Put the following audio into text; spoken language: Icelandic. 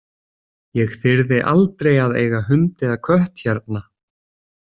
Ég þyrði aldrei að eiga hund eða kött hérna.